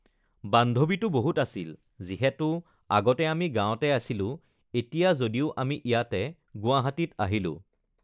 বান্ধৱীটো বহুত আছিল, যিহেতু আগতে আমি গাঁৱতে আছিলোঁ এতিয়া যদিও আমি ইয়াতে গুৱাহাটীত আহিলোঁ